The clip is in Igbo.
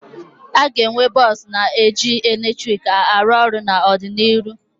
Aga enwe bọsụ na eji eletrik arụ ọrụ n'ọdịnihu